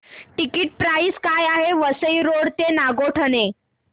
ticket price काय आहे Vasai road ते नागोठणे